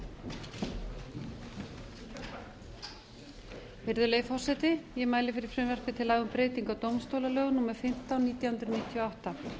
fimm virðulegi forseti ég mæli fyrir frumvarpi til laga um breytingu á dómstólalögum númer fimmtán nítján hundruð níutíu og átta